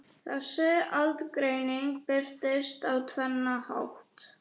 Þessi aðgreining birtist á tvennan hátt.